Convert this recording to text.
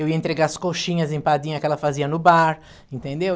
Eu ia entregar as coxinhas empadinhas que ela fazia no bar, entendeu?